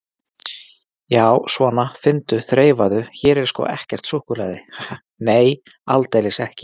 Já, svona, finndu, þreifaðu, hér er sko ekkert súkkulaði, ha, nei, aldeilis ekki.